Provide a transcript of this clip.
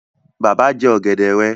Bàbá jẹ ọ̀gẹ̀dẹ̀ rẹ